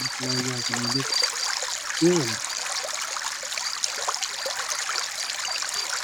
ለተለያዩ አገልግሎት ይውላል።